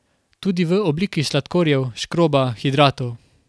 Tudi v obliki sladkorjev, škroba, hidratov.